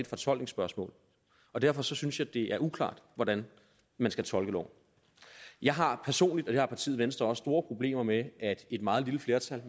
fortolkningsspørgsmål og derfor synes jeg det er uklart hvordan man skal tolke loven jeg har personligt og det har partiet venstre også store problemer med at et meget lille flertal